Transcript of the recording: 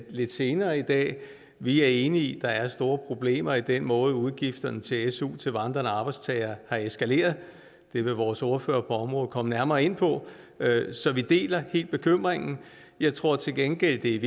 lidt senere i dag vi er enige i at der er store problemer i den måde hvorpå udgifterne til su til vandrende arbejdstagere er eskaleret det vil vores ordfører på området komme nærmere ind på så vi deler helt bekymringen jeg tror til gengæld det